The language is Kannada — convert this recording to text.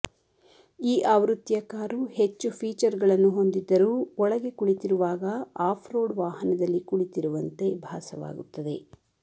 ಈ ಆವೃತ್ತಿಯ ಕಾರು ಹೆಚ್ಚು ಫೀಚರ್ ಗಳನ್ನು ಹೊಂದಿದ್ದರೂ ಒಳಗೆ ಕುಳಿತಿರುವಾಗ ಆಫ್ ರೋಡ್ ವಾಹನದಲ್ಲಿ ಕುಳಿತಿರುವಂತೆ ಭಾಸವಾಗುತ್ತದೆ